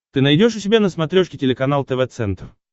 ты найдешь у себя на смотрешке телеканал тв центр